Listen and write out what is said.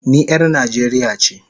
I am a Nigerian